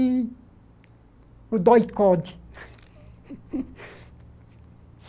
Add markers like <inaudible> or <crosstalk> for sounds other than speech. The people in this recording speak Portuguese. E o. <unintelligible> <laughs>